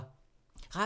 Radio 4